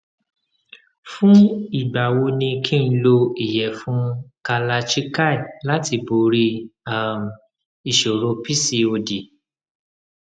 fún ìgbà wo ni kí n lo iyefun kalachikai láti borí um ìṣòro pcod